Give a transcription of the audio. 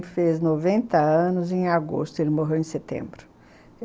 Fez noventa anos em agosto, ele morreu em setembro.